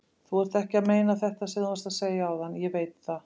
Þú ert ekki að meina þetta sem þú varst að segja áðan, ég veit það.